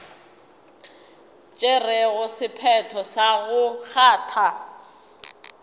tšerego sephetho sa go kgatha